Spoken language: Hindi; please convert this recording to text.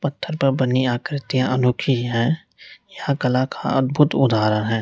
पत्थर पर बनी आकृतियां अनोखी है यह कला का अद्भुत उदाहरण है।